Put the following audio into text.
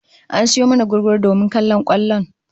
An sayo mana gugguru domin kallon kwallon